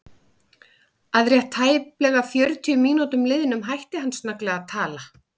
Að rétt tæplega fjörutíu mínútum liðnum hætti hann snögglega að tala.